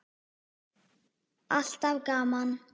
Alltaf gaman.